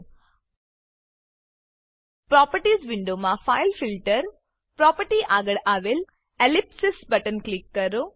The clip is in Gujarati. પ્રોપર્ટીઝ પ્રોપર્ટીઝ વિન્ડોમાં ફાઇલફિલ્ટર ફાઈલફીલ્ટર પ્રોપર્ટી આગળ આવેલ એલિપ્સિસ એલીપ્સીસ બટન પર ક્લિક કરો